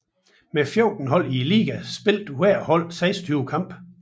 Med 14 hold i ligaen spillede hvert hold 26 kampe